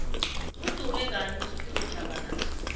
udume ngani ufphiwe shabalala